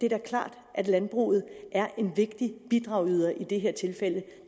er klart at landbruget er en vigtig bidragyder i det her tilfælde